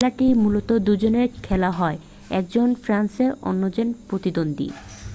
খেলাটি মূলত দুজনে খেলা হয় একজন ফেন্সার অন্যজনের প্রতিদ্বন্দ্বী